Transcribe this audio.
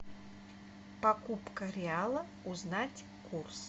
покупка реала узнать курс